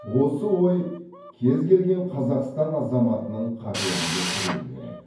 осы ой кез келген қазақстан азаматының қаперінде тұруы керек